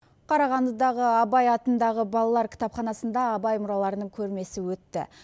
қарағандыдағы абай атындағы балалар кітапханасында абай мұраларының көрмесі өтті